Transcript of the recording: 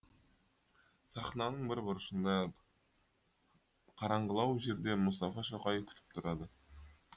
сахнаның бір бұрышында қараңғылау жерде мұстафа шоқай күтіп тұрады